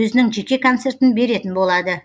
өзінің жеке концертін беретін болады